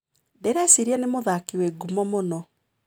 Ndĩreciria nĩ mũthaki wĩ ngumo mũno.